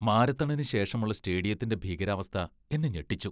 മാരത്തണിന് ശേഷമുള്ള സ്റ്റേഡിയത്തിന്റെ ഭീകരാവസ്ഥ എന്നെ ഞെട്ടിച്ചു.